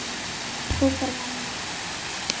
hrópar mamma.